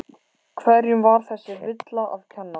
Hverjum var þessi villa að kenna?